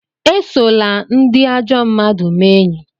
Esola ndị ajọ mmmadụ mee enyi!